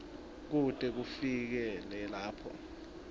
kute kufikele lapho